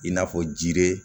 I n'a fɔ jiri